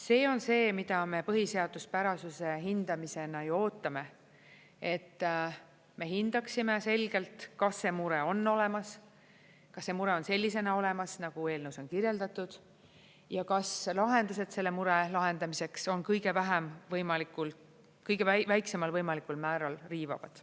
See on see, mida me põhiseaduspärasuse hindamisel ju ootame, et me hindaksime selgelt, kas see mure on olemas, kas see mure on sellisena olemas, nagu eelnõus on kirjeldatud, ja kas lahendused selle mure lahendamiseks on kõige väiksemal võimalikul määral riivavad.